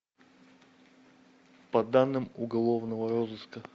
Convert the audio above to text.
по данным уголовного розыска